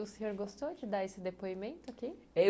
E o senhor gostou de dar esse depoimento aqui? eu